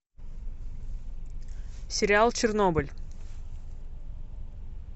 сериал чернобыль